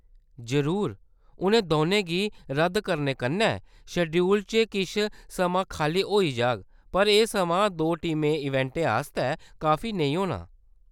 जरूर, उ'नें दौनें गी रद्द करने कन्नै शेड्यूल च किश समां खाल्ली होई जाग, पर एह् समां दो टीम इवेंटें आस्तै काफी नेईं होना ।